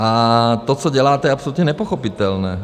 A to, co děláte, je absolutně nepochopitelné.